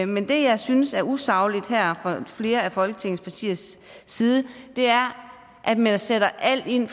men det jeg synes er usagligt fra flere af folketingets partiers side er at man sætter alt ind